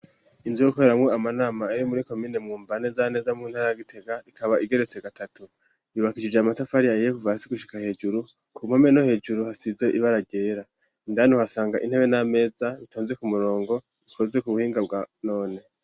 Inzu yo gukoreramo amanama iyo muri komine Mwumba nezaneza mu ntara Gitega rikaba igeretse gatatu yubakishije amatafari ahiye kuva hasi gushika hejuru ku mpome no hejuru hasize ibara ryera ryera. Indani uhasanga intebe n'ameza bitonze ku murongo bikoze ku buhinga bwa none.